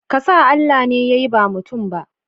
Kasa Allah ne ya yi ba mutum ba.